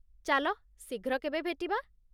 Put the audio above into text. ଚାଲ ଶୀଘ୍ର କେବେ ଭେଟିବା।